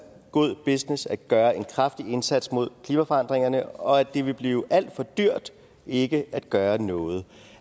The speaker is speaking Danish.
god business at gøre en kraftig indsats mod klimaforandringerne og at det vil blive alt for dyrt ikke at gøre noget